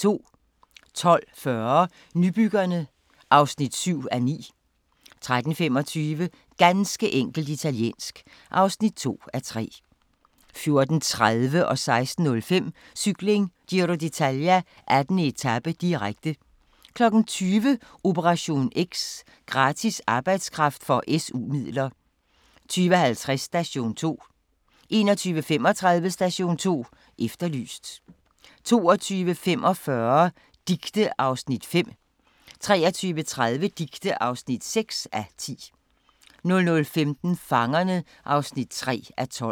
12:40: Nybyggerne (7:9) 13:25: Ganske enkelt italiensk (2:3) 14:30: Cykling: Giro d'Italia - 18. etape, direkte 16:05: Cykling: Giro d'Italia - 18. etape, direkte 20:00: Operation X: Gratis arbejdskraft for SU-midler 20:50: Station 2 21:35: Station 2 Efterlyst 22:45: Dicte (5:10) 23:30: Dicte (6:10) 00:15: Fangerne (3:12)